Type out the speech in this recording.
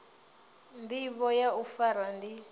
ndivho ya u fara ndi